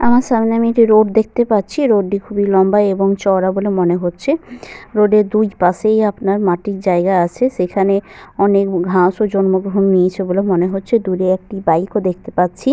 আমার সামনে আমি একটি রোড দেখতে পাচ্ছি। রোড টি খুবই লম্বা এবং চওড়া বলে মনে হচ্ছে। রোড এর দুইপাশেই আপনার মাটির জায়গা আছে। সেখানে অনেক ঘাসও জন্মগ্রহণ নিয়েছে বলে মনে হচ্ছে। দূরে একটি বাইক ও দেখতে পাচ্ছি।